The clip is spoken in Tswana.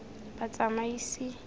batsamaisi